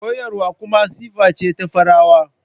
Koyarwa kuma siffa ce ta farawa.